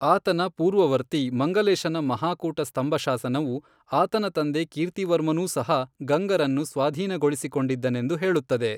ಆತನ ಪೂರ್ವವರ್ತಿ ಮಂಗಲೇಶನ ಮಹಾಕೂಟ ಸ್ತಂಭಶಾಸನವು, ಆತನ ತಂದೆ ಕೀರ್ತಿವರ್ಮನೂ ಸಹ ಗಂಗರನ್ನು ಸ್ವಾಧೀನಗೊಳಿಸಿಕೊಂಡಿದ್ದನೆಂದು ಹೇಳುತ್ತದೆ.